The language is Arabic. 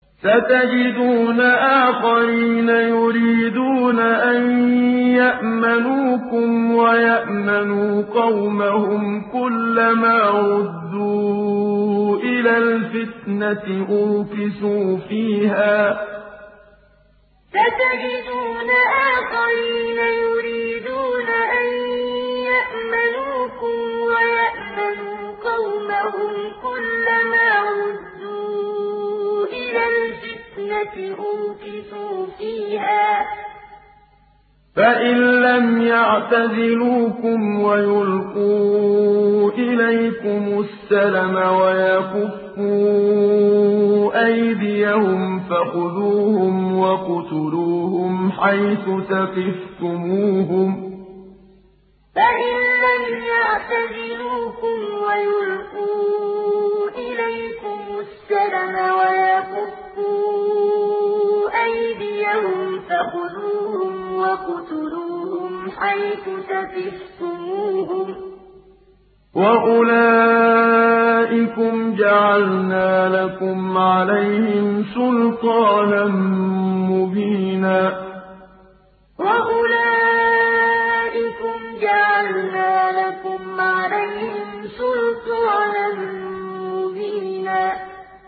سَتَجِدُونَ آخَرِينَ يُرِيدُونَ أَن يَأْمَنُوكُمْ وَيَأْمَنُوا قَوْمَهُمْ كُلَّ مَا رُدُّوا إِلَى الْفِتْنَةِ أُرْكِسُوا فِيهَا ۚ فَإِن لَّمْ يَعْتَزِلُوكُمْ وَيُلْقُوا إِلَيْكُمُ السَّلَمَ وَيَكُفُّوا أَيْدِيَهُمْ فَخُذُوهُمْ وَاقْتُلُوهُمْ حَيْثُ ثَقِفْتُمُوهُمْ ۚ وَأُولَٰئِكُمْ جَعَلْنَا لَكُمْ عَلَيْهِمْ سُلْطَانًا مُّبِينًا سَتَجِدُونَ آخَرِينَ يُرِيدُونَ أَن يَأْمَنُوكُمْ وَيَأْمَنُوا قَوْمَهُمْ كُلَّ مَا رُدُّوا إِلَى الْفِتْنَةِ أُرْكِسُوا فِيهَا ۚ فَإِن لَّمْ يَعْتَزِلُوكُمْ وَيُلْقُوا إِلَيْكُمُ السَّلَمَ وَيَكُفُّوا أَيْدِيَهُمْ فَخُذُوهُمْ وَاقْتُلُوهُمْ حَيْثُ ثَقِفْتُمُوهُمْ ۚ وَأُولَٰئِكُمْ جَعَلْنَا لَكُمْ عَلَيْهِمْ سُلْطَانًا مُّبِينًا